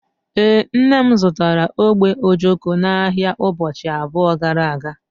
Ee, nne m zụtara ogbe ojoko n'ahịa ụbọchị abụọ gara aga